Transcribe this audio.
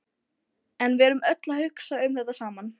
En við erum öll að hugsa um þetta sama.